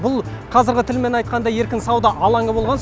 бұл қазіргі тілмен айтқанда еркін сауда алаңы